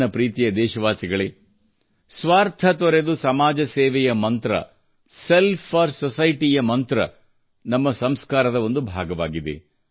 ನನ್ನ ಪ್ರೀತಿಯ ದೇಶವಾಸಿಗಳೇ ಸ್ವಾರ್ಥ ತೊರೆದು ಸಮಾಜ ಸೇವೆಯ ಮಂತ್ರ ಸೆಲ್ಫ್ ಫೋರ್ ಸೊಸೈಟಿ ಯ ಮಂತ್ರ ನಮ್ಮ ಸಂಸ್ಕಾರದ ಒಂದು ಭಾಗವಾಗಿದೆ